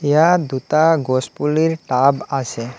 ইয়াত দুটা গছ পুলিৰ টাব আছে।